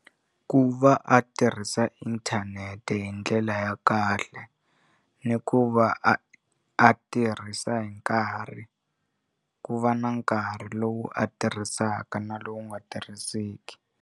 Ku va a tirhisa inthanete hi ndlela ya kahle ni ku va a a tirhisa hi nkarhi ku va na nkarhi lowu a tirhisaka na lowu nga tirhiseki.